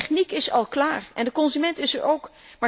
De techniek is al klaar en de consument is er